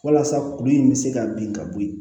Walasa kuru in bɛ se ka bin ka bɔ ye